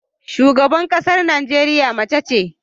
Shugaban ƙasar Najeriya mace ce.